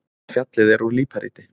Fjallið er úr líparíti.